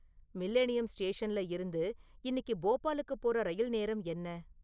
Millennium ஸ்டேஷன்ல இருந்து இன்னிக்கு போபாளுக்குப் போற ரயில் நேரம் என்ன?